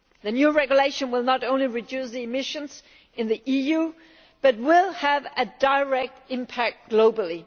The new Regulation will not only reduce emissions in the EU but will have a direct impact globally.